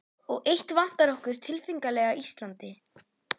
Og eitt vantar okkur tilfinnanlega á Íslandi.